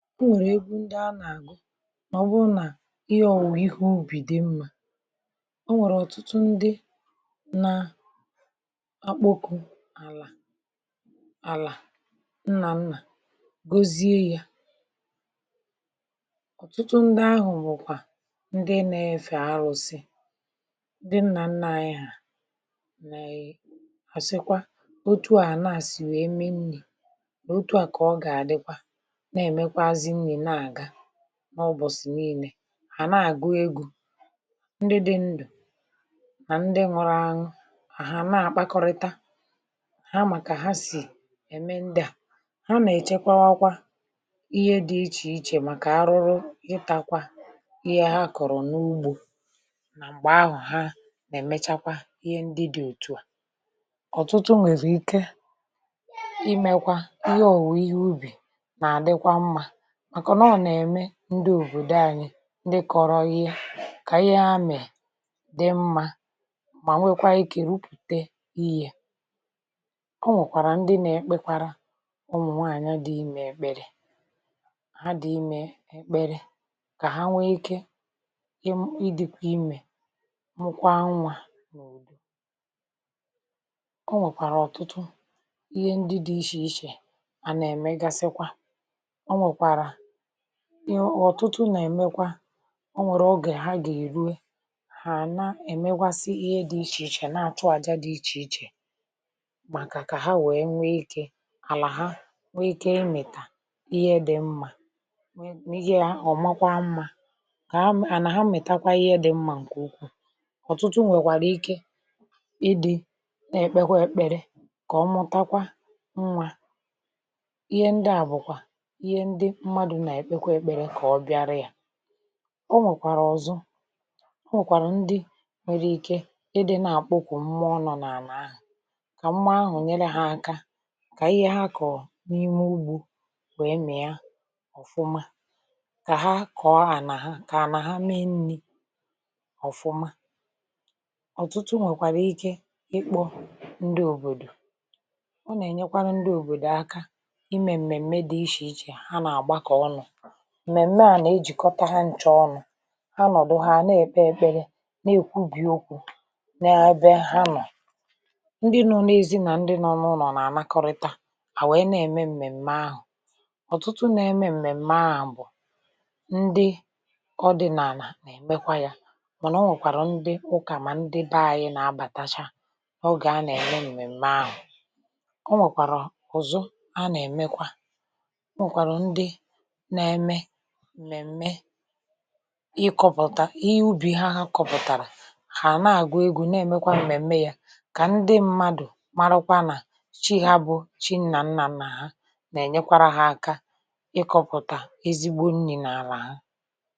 E nwèrè egwu ǹdi anȧ-agu màọbụ nà ihe ọ̀wụ̀we ihe ubì dị mmȧ. O nwèrè ọ̀tụtụ ndị na akpọkụ àlà, àlà nnà nnà gozie ya ọ̀tụtụ ndị ahụ̀ nwèkwà ndị na-efè arụ̇sị, ndi nnà nnà anyị à, nà e-asịkwa otu a àla àsị wèe mee nni, otu a ka o gà-àdịkwa, nà-emèkwazi nni nà-àga, n’ụbọ̀sị̀ niilė. Ha na-àgụ egwu, ndị dị ndụ̀ nà ndị nwụrụ àṅwụ. Hà àna-àgbakọrịta, ha màkà ha sì ẹ̀mẹ ndị à. Ha nà-èchekwawakwa ihe dị ichè ichè màkà arụrụ ịtȧkwȧ ihe ha kọ̀rọ̀ n’ugbȯ nà m̀gbè ahụ̀ ha nà-èmechakwa ihe ndị dị̇ òtù à. ọ̀tụtụ nwèziri ike imėkwa ihe òwùwè ihe ubì nà-àdịkwa mmȧ màkọ̀ nà ọ nà-ème ndị òbòdo anyị ndị kọ̀rọ ihe kà ihe amè dị mmȧ mà nwekwa ikė rupùte ihė. O nwèkwàrà ndị na-ekpekwara umụ̀nwaanyị dị imė èkpèrè, ha dị imė èkpere kà ha nwee ike imu idikwa imė mụkwa nwȧ. O nwèkwàrà ọ̀tụtụ ihe ndị dị ichè ichè à nà-ème gasịkwa. O nwèkwàrà iy ọ̀tụtụ nà-èmekwa o nwèrè ogè ha gà-èrue hà na-èmekwasi ihe dị̇ ichèichè na-àchụ àja dị̇ ichèichè màkà kà ha wèe nwee ikė, k'àlà ha nwee ikė ịmị̀tà ihe dị̇ mmȧ, mmi̇ghi̇ à ọ̀makwa mmȧ ,kà àlà ha mìtakwa ihe dị̇ mmȧ ǹkè ukwuu. ọ̀tụtụ nwèkwàrà ike ịdị̇ na-èkpekwa èkpere kà ọ mụtakwa nwȧ. Ihe ndị à bùkwà ìhe ǹdi mmadụ nà-èkpekwe èkpere kà ọ bịara yà. ọ nwèkwàrà ọ̀zọ, ọ nwèkwàrà ndị nwere ike ị dị nà-àkpụ kwụ nmuọ nọ̇ nà-àla ahụ̀, kà nmuọ ahụ̀ nyere hȧ aka, kà ihe ha kọ̀ọ n’ime ugbȯ wee mia ọ̀fụma. Kà ha kọ̀ọ ànà ha, kà ànà ha mee nni̇ ọ̀fụma. ọ̀tụtụ nwèkwàrà ike ịkpọ ndị òbòdò, ọ nà-ènyekwanụ ndị òbòdò aka imè m̀mèmme di ichè ichè ha nà-agbako onụ. Mmèmme à nà-ejìkọta ha nchȧ ọnụ̇. Ha nọ̀dụ ha nà-ekpe ekpele, nà-èkwubì okwu̇ nà-ebe ha nọ̀. Ndị nọ̀ n’ezi nà ndị nọ n'ụlọ̀ nà-ànakọrịta, à wèe na-ème m̀mèm̀mè ahụ̀. ọ̀tụtụ nà-eme m̀mèm̀mè a bụ̀ ndị ọdịnànà nà-èmekwa yȧ, mànà o nwèkwàrà ndị ụkà, mà ndị be anyị nà-abàtacha ogė a nà-ème m̀mèm̀mè ahụ̀. O nwèkwàrà ụ̀zụ a nà-èmekwa. E nwèkwara ǹdi nà-eme m̀mèm̀mè ịkọ̇pụ̀ta ihe ubì ha, ha kọpụ̀tàrà hà àna-àgụ̀ egwu̇ na-èmekwa m̀mèm̀me yȧ, kà ndị mmadụ̀ marakwa nà chi ha bụ̀, chi nnà nnà nnà ha nà-ènyekwara ha aka ịkọ̇pụ̀ta ezigbo nni̇ n’àlà ha.